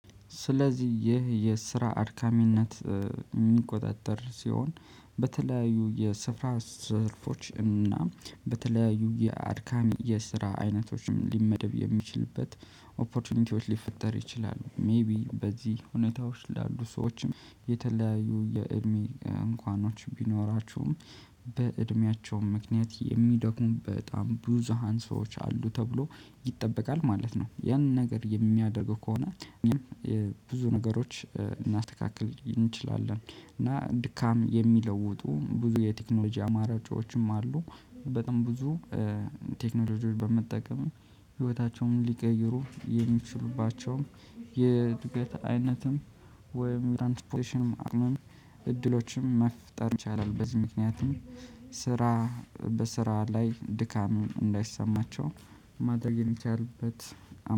ስለዚህ ይህ የስራ አርካሚነት የሚቆጣጠር ሲሆን በተለያዩ የስራ ዘርፎች እና በተለያዩ የአድካሚ የስራ አይነቶችም ሊመደብ የሚችልበት ኦፖርቹኒቲዎች ሊፈጠር ይችላል ሜይቢ በዚህ ሁኔታዎች ላሉ ሰዎችም የተለያዩ የእድሜ እንኳኖች ቢኖራችሁም በእድሜያቸውም ምክንያት የሚደክሙ በጣም ብዙሃን ሰዎች አሉ ተብሎ ይጠበቃል ማለት ነው። ያን ነገር የሚያደርገው ከሆነ እኛም የብዙ ነገሮች ልናስተካክል እንችላለን እና ድካም የሚለውጡ ብዙ የቴክኖሎጂ አማራጮችም አሉ። በጣም ብዙ ቴክኖሎጂዎች በመጠቀም ህይወታቸውን ሊቀይሩ የሚችሉባቸውን የእድገት አይነትም ወይም እድሎችም መፍጠር ይቻላል። በዚህ ምክንያቱም ስራ በስራ ላይ ድካም እንዳይሰማቸው ማድረግ የሚቻልበት